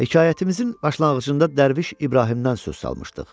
Hekayətimizin başlanğıcında dərviş İbrahimdən söz salmışdıq.